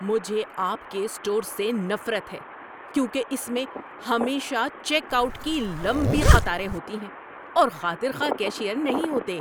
مجھے آپ کے اسٹور سے نفرت ہے کیونکہ اس میں ہمیشہ چیک آؤٹ کی لمبی قطاریں ہوتی ہیں اور خاطر خواہ کیشیئر نہیں ہوتے۔